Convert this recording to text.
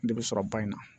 Ne bɛ sɔrɔ ba in na